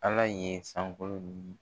Ala ye sankolo ni